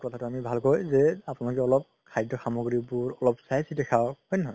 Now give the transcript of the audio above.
কথাতো ভালকৈ যে আপুনালোকে অলপ খদ্য সামগ্ৰীবোৰ অলপ চাই চিতি খাওক হয় নে নহয়